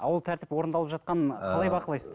ал ол тәртіп орындалып жатқанын қалай бақылайсыздар